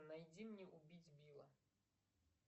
найди мне убить билла